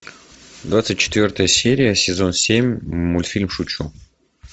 двадцать четвертая серия сезон семь мультфильм шучу